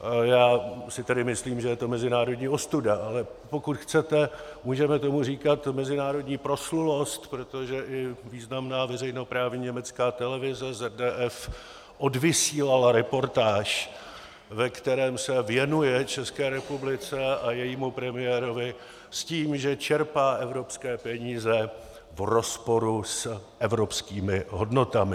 Já si tedy myslím, že je to mezinárodní ostuda, ale pokud chcete, můžeme tomu říkat mezinárodní proslulost, protože i významná veřejnoprávní německá televize ZDF odvysílala reportáž, ve které se věnuje České republice a jejímu premiérovi s tím, že čerpá evropské peníze v rozporu s evropskými hodnotami.